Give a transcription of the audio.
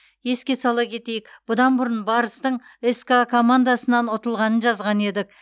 еске сала кетейік бұдан бұрын барыстың ска командасынан ұтылғанын жазған едік